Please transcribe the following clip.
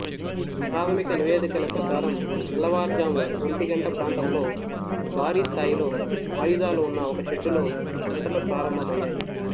ప్రాథమిక నివేదికల ప్రకారం తెల్లవారుజాము ఒంటి గంట ప్రాంతంలో భారీ స్థాయిలో ఆయుధాలు ఉన్న ఒక షెడ్డులో మంటలు ప్రారంభమయ్యాయి